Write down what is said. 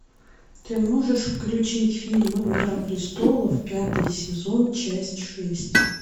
ты можешь включить фильм игра престолов пятый сезон часть шесть